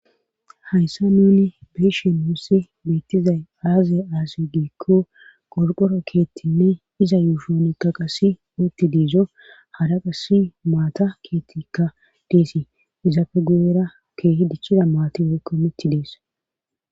Hayssa nuni beeshen mussi beettizay aaze aase giikko qolqoro keettinne iza yuushonekka qassi muutti diizo hara qasi maata keethtika deesi izaafe gu'era keehi dichchida maati woykko mitti dees.